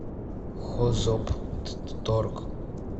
хозоптторг